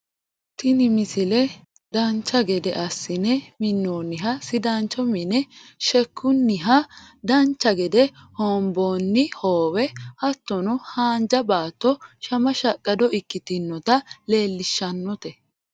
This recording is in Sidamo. tini misile dancha gede assine minnoonniha sidaancho mine sheekkunnihanna dancha gede hoonboonni hoowe hattono haanja baatto shama shaqqado ikkitinota leellishshannote